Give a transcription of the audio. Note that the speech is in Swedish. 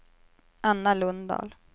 Anna Lundahl